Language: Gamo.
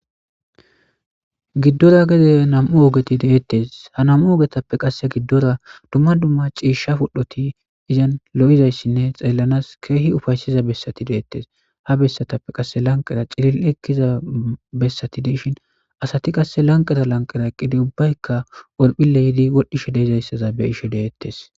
giddora gede namu ooogeti deettes ha nam7u ogetappe qasse giddora dumma dumma ciishsha pudhdhoti izan lo7izayssinne xeellanas keehi ufayssiza bessati deettes ha bessatappe qasse lanqera cilil ekkiza bessati deishin asati qasse lanqera lanqera eqqidi ubbayka olphille yiidi wodhdhishe deizayssaza be ishe deettes